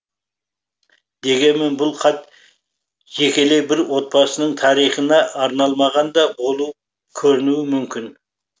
дегенмен бұл хат жекелей бір отбасының тарихына арналмаған да болып көрінуі мүмкін